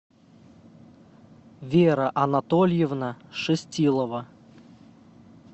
вера анатольевна шестилова